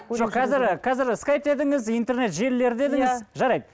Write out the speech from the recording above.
қазір қазір скайп дедіңіз интернет желілері дедіңіз жарайды